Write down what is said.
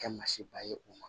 Kɛ ma se ba ye o ma